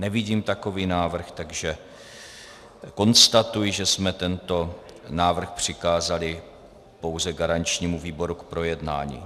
Nevidím takový návrh, takže konstatuji, že jsme tento návrh přikázali pouze garančnímu výboru k projednání.